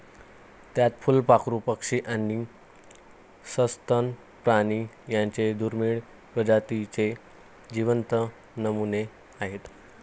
त्यात फुलपाखरू, पक्षी आणि सस्तन प्राणी यांच्या दुर्मिळ प्रजातींचे जिवंत नमुने आहेत.